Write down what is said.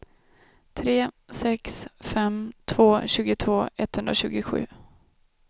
tre sex fem två tjugotvå etthundratjugosju